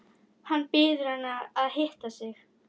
Hann biður hana að hitta sig.